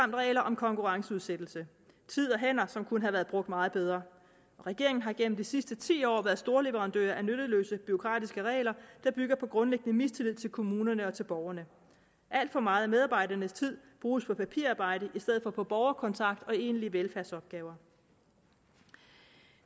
regler om konkurrenceudsættelse tid og hænder som kunne have været brugt meget bedre regeringen har igennem de sidste ti år været storleverandør af nytteløse bureaukratiske regler der bygger på en grundlæggende mistillid til kommunerne og til borgerne alt for meget af medarbejdernes tid bruges på papirarbejde i stedet for på borgerkontakt og på egentlige velfærdsopgaver